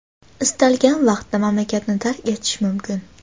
istalgan vaqtda mamlakatni tark etishi mumkin.